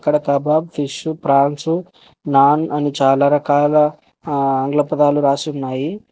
అక్కడ kebab fish France అని చాలా ఆంగ్ల పదాలు రాసి ఉన్నాయి.